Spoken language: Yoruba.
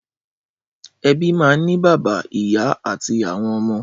Ẹbí máa ń ní bàbá, ìyá àti àwọn ọmọ.